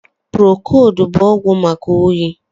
Prokold bụ ọgwụ maka oyi